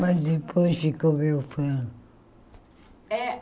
Mas depois ficou meu fã.